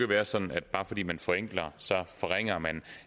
være sådan at bare fordi man forenkler forringer man